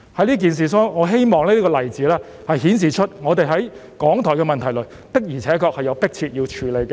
在此事上，我希望這個例子足以顯示港台的問題實在是迫切需要處理。